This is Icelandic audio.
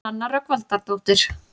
Nanna Rögnvaldardóttir.